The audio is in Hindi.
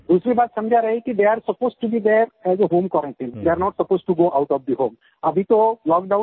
दूसरी बात समझा रहे हैं कि they are supposed to be there as a home quarantine they are not supposed to go out of the home